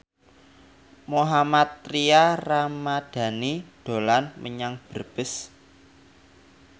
Mohammad Tria Ramadhani dolan menyang Brebes